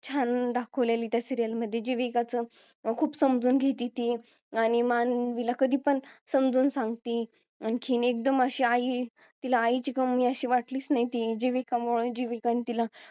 छान दाखवलेली त्या serial मध्ये जीविकाचं खूप समजून घेती ती आणि मानवी ला पण कधी पण समजून सांगती आणखीन एकदम अशी आई तिला आईची कमी अशी वाटलीच नाही जीविका मुळे जीविकानि तिला